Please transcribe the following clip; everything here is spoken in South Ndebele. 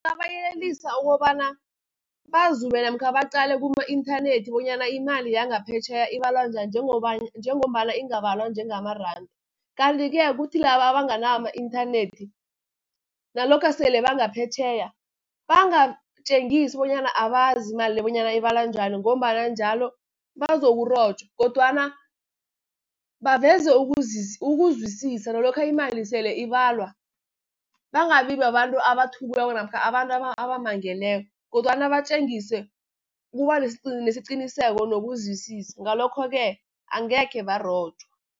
Babayelelisa ukobana bazume, namkha baqale kuma-inthanethi bonyana imali yangaphetjheya ibalwa njani, njengombana ingabalwa njengamaranda. Kanti-ke kuthi laba abanganawo ama-inthanethi nalokha sele bangaphetjheya, bangatjengisi bonyana abazi imali le, bonyana ibalwa njani, ngombana njalo bazokurojwa, kodwana baveze ukuzwisisa. Nalokha imali nasele ibalwa, bangabi babantu abathukiweko namkha abantu abamangeleko, kodwana batjengise ukubanesiqiniseko nokuzwisisa, ngalokho-ke angekhe barojwa.